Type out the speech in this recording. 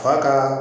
Fa ka